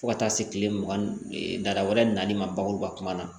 Fo ka taa se kile mugan ni dara wɛrɛ nali ma bakuruba kuma na